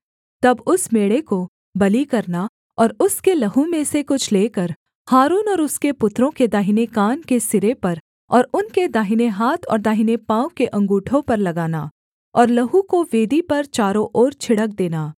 तब उस मेढ़े को बलि करना और उसके लहू में से कुछ लेकर हारून और उसके पुत्रों के दाहिने कान के सिरे पर और उनके दाहिने हाथ और दाहिने पाँव के अँगूठों पर लगाना और लहू को वेदी पर चारों ओर छिड़क देना